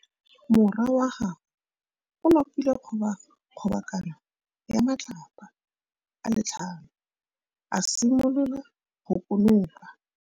Morwa wa gagwe o nopile kgobokanô ya matlapa a le tlhano, a simolola go konopa.